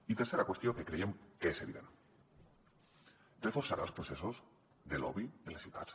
i tercera qüestió que creiem que és evident reforçarà els processos de lobby en les ciutats